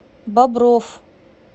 бобров